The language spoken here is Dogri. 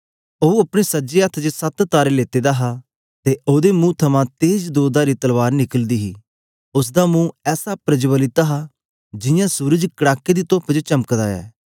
ओ अपने सज्जे हत्थ च सत तारे लेते दा हा ते ओदे मुंह थमां तेज दोधारी तलवार निकलदी हे उस्स दा मुंह ऐसा प्रज्वलित हा जियां सूरज कड़ाके दी तूप च चमकदा ऐ